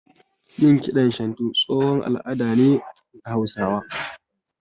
Yin kiɗan shantu tsohon al'ada ne na Hausawa